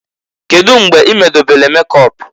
Kedu mgbe i medobelu mekọp?